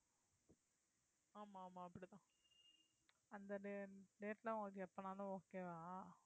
அந்த date எல்லாம் உங்களுக்கு எப்பனாலும் okay வா